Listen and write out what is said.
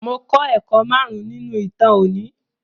Mo klọ́ ẹ̀kọ́ márùn-ún nínú ìtàn òní.